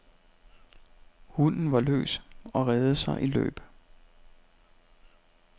Hunden var løs og reddede sig i løb.